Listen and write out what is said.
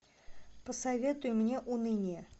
посоветуй мне уныние